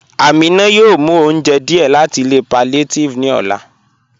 Aminà yóò mú ọ̀unjẹ́ díẹ̀ láti ilẹ̀ palliative ni ọlá."